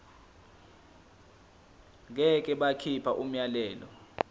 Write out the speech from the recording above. ngeke bakhipha umyalelo